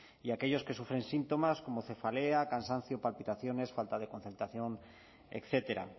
y aquellos que sufren síntomas como cefaleas cansancio palpitaciones falta de concentración etcétera